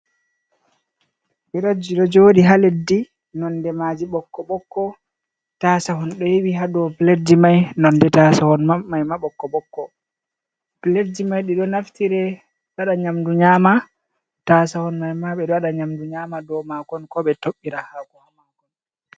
Piletji ɗo jooɗi ha leddi, nonde maaji ɓokko-ɓokko. Taasahon ɗo yowi ha dow piletji man, nonde taasahon mai ma ɓokko-ɓokko. Piletji mai ɗi ɗo naftire waɗa nyamdu nyaama, taasahon mai ma ɓe ɗo waɗa nyaama dow maakon, koo ɓe toɓɓira haako.